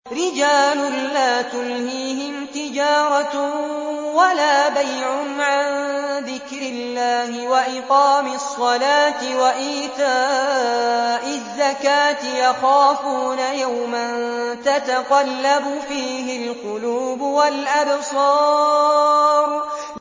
رِجَالٌ لَّا تُلْهِيهِمْ تِجَارَةٌ وَلَا بَيْعٌ عَن ذِكْرِ اللَّهِ وَإِقَامِ الصَّلَاةِ وَإِيتَاءِ الزَّكَاةِ ۙ يَخَافُونَ يَوْمًا تَتَقَلَّبُ فِيهِ الْقُلُوبُ وَالْأَبْصَارُ